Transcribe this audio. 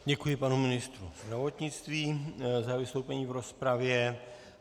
Děkuji panu ministru zdravotnictví za vystoupení v rozpravě.